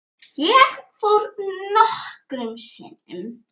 Ég fór nokkrum sinnum.